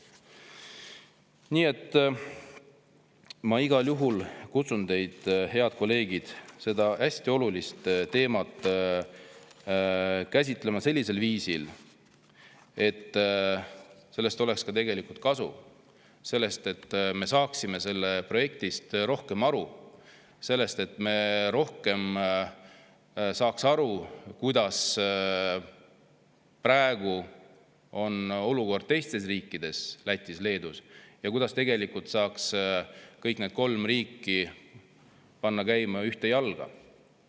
Nii et ma igal juhul kutsun teid, head kolleegid, seda hästi olulist teemat käsitlema sellisel viisil, et sellest oleks ka kasu, et me saaksime sellest projektist rohkem aru, et me saaksime rohkem aru, milline on praegu olukord teistes riikides, Lätis ja Leedus, ja kuidas saaks kõik need kolm riiki panna ühte jalga.